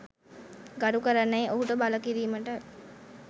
ගරු කරන්නැයි ඔහුට බල කිරීමට